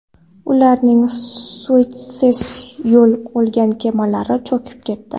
Ularning Suetsdan yo‘l olgan kemalari cho‘kib ketdi.